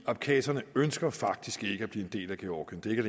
abkhaserne ønsker faktisk ikke at blive en del af georgien det er